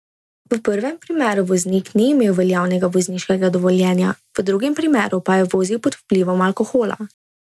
V prvem primeru voznik ni imel veljavnega vozniškega dovoljenja, v drugem primeru pa je vozil pod vplivom alkohola.